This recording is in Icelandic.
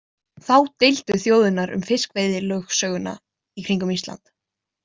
Þá deildu þjóðirnar um fiskveiðilögsöguna í kringum Ísland.